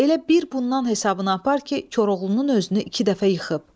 Elə bir bundan hesabına apar ki, Koroğlunun özünü iki dəfə yıxıb.